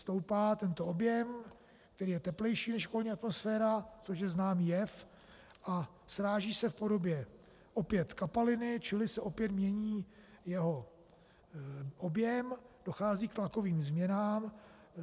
Stoupá tento objem, ten je teplejší než okolní atmosféra, což je známý jev, a sráží se v podobě opět kapaliny, čili se opět mění jeho objem, dochází k tlakovým změnám.